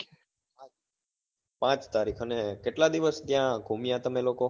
પાંચ તારીખ અને કેટલા દિવસ ત્યાં ગુમ્યા તમે લોકો?